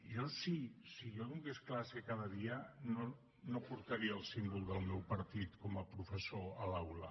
jo si donés classe cada dia no portaria el símbol del meu partit com a professor a l’aula